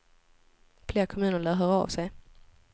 Fler kommuner lär höra av sig.